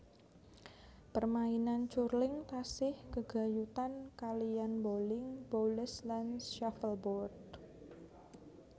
Permainan curling tasih gègayutan kaliyan boling boules lan shuffleboard